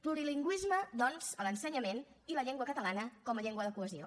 plurilingüisme doncs a l’ensenyament i la llengua catalana com a llengua de cohesió